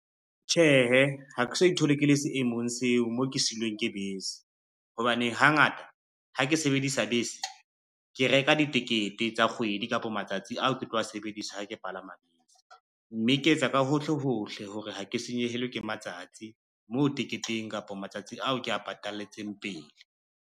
Tjhehe, ha ke so ithole ke le seemong seo mo ke siilweng ke bese, hobane hangata ha ke sebedisa bese, ke reka ditekete tsa kgwedi kapa matsatsi ao ke tlo sebedisa ha ke palama bese, mme ke etsa ka hohle hohle hore ha ke senyehelwe ke matsatsi mo teketeng kapa matsatsi ao ke a patalletseng pele.